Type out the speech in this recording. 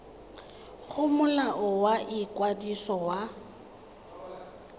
go molao wa ikwadiso wa